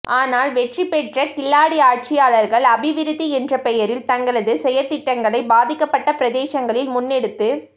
ஆனால் வெற்றிபெற்ற கில்லாடி ஆட்சியாளர்கள் அபிவிருத்தி என்ற பெயரில் தங்களது செயற்றிட்டங்களை பாதிக்கப்பட்ட பிரதேசங்களில் முன்னெடுத்துச்